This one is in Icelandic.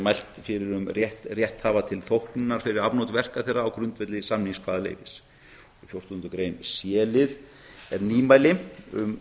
mælt fyrir um rétt rétthafa til þóknunar fyrir afnot verka þeirra á grundvelli samningskvaðaleyfis í c lið fjórtándu greinar er nýmæli um